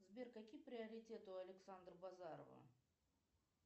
сбер какие приоритеты у александра базарова